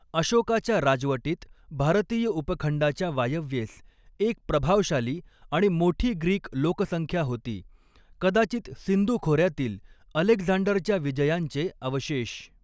अशोकाच्या राजवटीत भारतीय उपखंडाच्या वायव्येस एक प्रभावशाली आणि मोठी ग्रीक लोकसंख्या होती, कदाचित सिंधू खोऱ्यातील अलेक्झांडरच्या विजयांचे अवशेष.